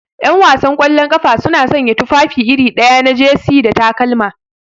Ƴanwasan kwallon ƙafa suna sanya tufafi iri ɗaya na jesi da takalma.